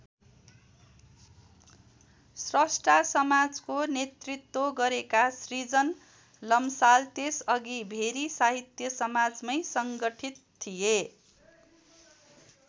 स्रष्टा समाजको नेतृत्व गरेका श्रृजन लम्साल त्यसअघि भेरी साहित्य समाजमै सङ्गठित थिए।